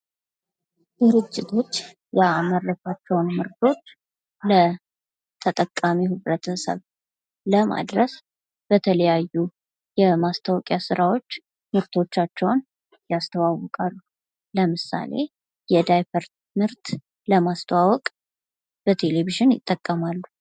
ድርጅቶች ያደረጓቸውን ምርቶች ለተጠቃሚው ህብረተሰብ ለማድረስ በተለያዩ የማስታወቂያ ስራዎች ምርቶቻቸውን ያስተዋውቃሉ። ለምሳሌ የዳይፐር ምርት ለማስተዋወቅ በቴሌቪዥን ይጠቀማሉ።